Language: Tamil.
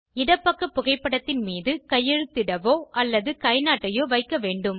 இடப்பக்க புகைப்படத்தின் மீது கையெழுத்திடவோ அல்லது கைநாட்டையோ வைக்க வேண்டும்